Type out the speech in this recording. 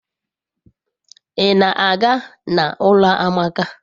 I na-aga n'ulo amaka